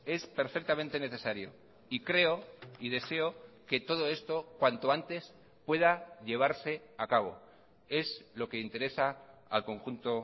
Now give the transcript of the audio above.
es perfectamente necesario y creo y deseo que todo esto cuanto antes pueda llevarse a cabo es lo que interesa al conjunto